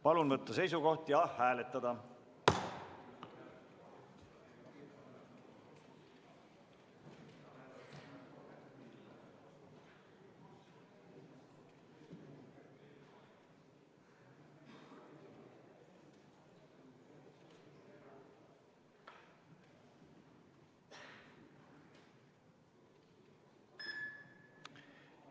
Palun võtta seisukoht ja hääletada!